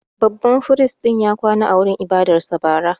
Babban firist ya kwana a wurin ibadarsa bara.